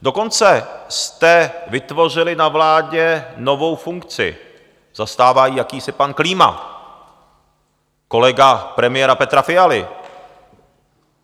Dokonce jste vytvořili na vládě novou funkci, zastává ji jakýsi pan Klíma, kolega premiéra Petra Fialy.